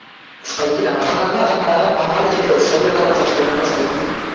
spy யிடா அவுங்களாம் அதான் டா அவுங்க ஆளு எதுக்கு? spy வேலதானே பார்த்துட்டு இருக்காங்க spy